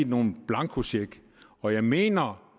nogen blankocheck og jeg mener